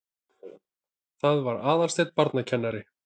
Það var Aðalsteinn barnakennari.